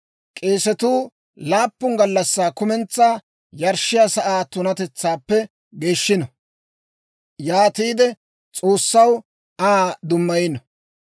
K'eesetuu laappun gallassaa kumentsaa yarshshiyaa sa'aa tunatetsaappe geeshshino. Yaatiide S'oossaw Aa dummayino.